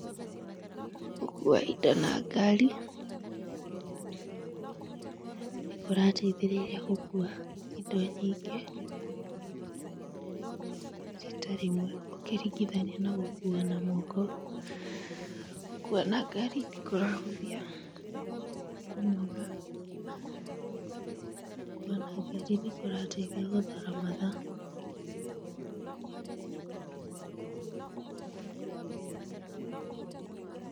Gũkua indo na ngari nĩ kĩrateithĩrĩria gũkua indo nyingĩ rita rĩmwe ũkĩringithania gũkua na moko, gũkua na ngari nĩ kũrahũthia, kũnoga gũkua na ngari nĩ kũrateithia gũthara mathaa.